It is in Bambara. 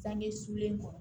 Sange sulen kɔ